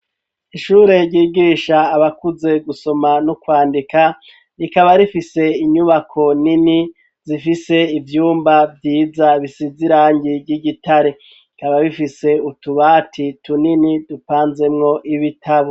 Ishure ry'igisha abakuze gusoma no kwandika rikaba rifise inyubako nini zifise ivyumba vyiza bisize irangi ry'igitare rikaba bifise utubati tunini dupanzemwo ibitabo.